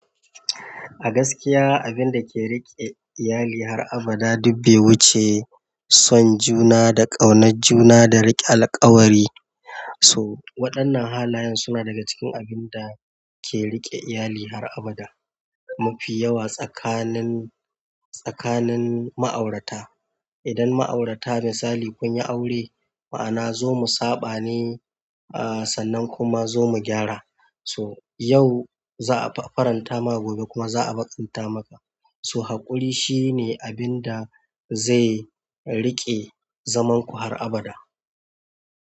A gaskiya, abin da ke riƙe iyali har abada duk bai wuce son juna da ƙaunar juna da riƙe alkawari. So waɗannan halayen suna daga cikin abinda ke riƙe iyali har a bada mafi yawa tsakanin, tsakanin ma'aurata. Idan ma'aurata misali kunyi aure ma'ana zo mu saɓane sannan kuma zo mu gyara so yau za a faranta maka gobe kuma za a baƙanta maka. So haƙuri shine abin da zai riƙe zaman ku har abada.